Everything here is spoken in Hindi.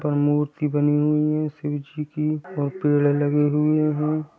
पर मूर्ति बनी हुई है शिव जी की और पेड़ लगे हुए है।